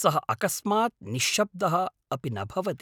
सः अकस्मात् निश्शब्दः अपि न भवति।